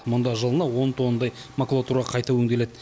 мұнда жылына он тоннадай макулатура қайта өңделеді